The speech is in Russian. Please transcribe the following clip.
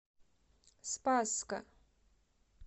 спасска